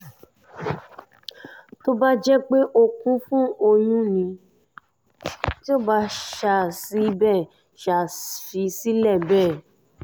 tó bá jẹ́ pé ó kún fún ọyún tí ó sì bẹ́ ṣáà sì bẹ́ ṣáà fi sílẹ̀ bẹ́ẹ̀